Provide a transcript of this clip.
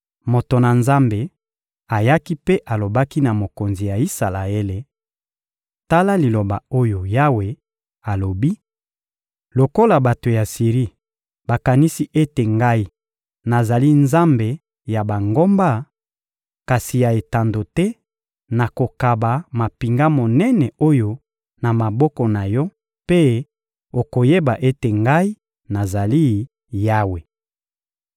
Moto na Nzambe ayaki mpe alobaki na mokonzi ya Isalaele: — Tala liloba oyo Yawe alobi: «Lokola bato ya Siri bakanisi ete Ngai nazali nzambe ya bangomba, kasi ya etando te, nakokaba mampinga monene oyo na maboko na yo mpe okoyeba ete Ngai nazali Yawe.»